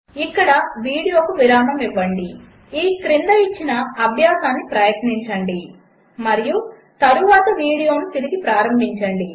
ఇక్కడ వీడియోకు విరామము ఇవ్వండి ఈ క్రింద ఇచ్చిన అభ్యాసము ప్రయత్నించండి మరియు తరువాత వీడియో తిరిగి ప్రారంభించండి